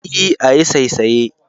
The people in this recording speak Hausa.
E, ayi saisaye.